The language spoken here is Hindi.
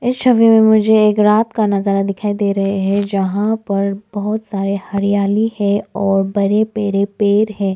छवि में मुझे एक रात का नजारा दिखाई दे रहे हैं यहां पर बहुत सारे हरियाली है और बड़े बड़े पेड़ है।